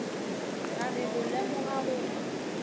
ra re go lemoga gore